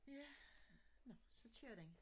Ja nå så kører den